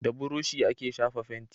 Da burushi ake shafa fenti